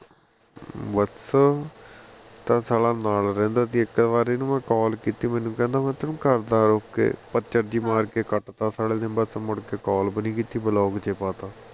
ਬਸ ਉਹ ਤਾਂ ਸਾਲਾ ਨਾਲ ਰਹਿੰਦਾ ਸੀ ਇਕ ਵਾਰੀ ਮੈਂ ਇਹਨੂੰ call ਕੀਤੀ ਮੈਨੂੰ ਕਹਿੰਦਾ ਮੈਂ ਤੈਨੂੰ ਕਰਦਾ ਆ ਰੁਕ ਕੇ ਪ੍ਚਾਰ ਜਹੀ ਮਾਰ ਕੇ cut ਤਾਂ ਸਾਲੇ number ਨੇ ਬਸ ਮੁੜ ਕੇ call ਵੀ ਨਹੀ ਕੀਤੀ block ਵਿਚ ਪਾਤਾ